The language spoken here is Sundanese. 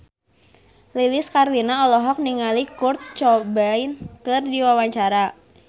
Lilis Karlina olohok ningali Kurt Cobain keur diwawancara